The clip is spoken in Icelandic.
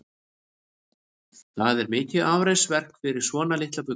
Það er mikið afreksverk fyrir svona litla fugla.